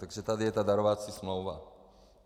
Takže tady je ta darovací smlouva.